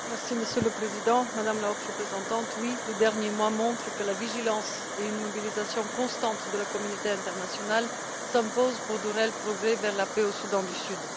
Monsieur le Président, Madame la Haute Représentante, oui, les derniers mois montrent que la vigilance et une mobilisation constante de la communauté internationale s'imposent pour de réels progrès vers la paix au Soudan du Sud.